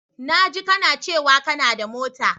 Na jika kana cewa kanada mota.